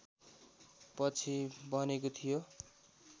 पछि बनेको थियो